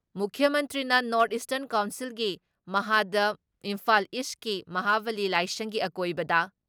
ꯃꯨꯈ꯭꯭ꯌ ꯃꯟꯇ꯭ꯔꯤꯅ north eastern ꯀꯥꯎꯟꯁꯤꯜꯒꯤ ꯃꯍꯥꯗ ꯏꯝꯐꯥꯜ ꯏꯁꯀꯤ ꯃꯍꯥꯕꯥꯂꯤ ꯂꯥꯏꯁꯪꯒꯤ ꯑꯀꯣꯏꯕꯗ